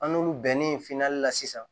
An n'olu bɛnnen finan na sisan